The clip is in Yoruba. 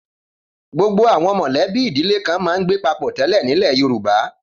Gbogbo àwọn mọ̀lẹ́bí ìdílé kan máa ń gbé papọ̀ tẹ́lẹ̀ nílẹ̀ Yorùbá.